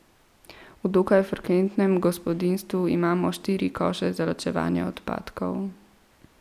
V dokaj frekventnem gospodinjstvu imamo štiri koše za ločevanje odpadkov.